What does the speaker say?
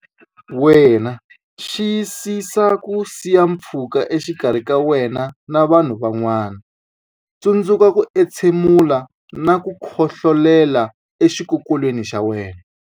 Wena Xiyisisa ku siya pfhuka exikarhi ka wena na vanhu van'wana Tsundzuka ku entshe mula na ku khohlolela exikokolweni xa wena.